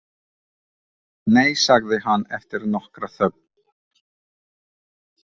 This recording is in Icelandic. Nei, sagði hann eftir nokkra þögn.